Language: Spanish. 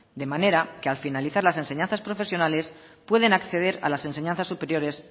de manera que al finalizar las enseñanzas profesionales pueden acceder a las enseñanzas superiores